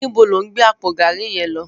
Nibó ló n gbé àpó gàrí yèn lò?